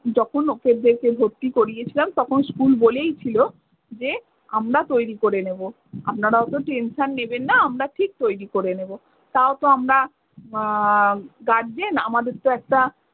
যখন ওকে ভর্তি করিয়েছিলাম তখন school বলেইছিলো যে আমরা তৈরী করে নেবো। আপনারা ওতো tension নেবেন না আমরা ঠিক তৈরী করে নেবো। তাও তো আমরা উম guardian আমাদের তো একটা